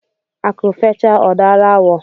Akụ fechaa ọ daara awọ.